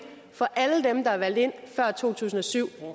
for alle dem der er valgt ind før to tusind og syv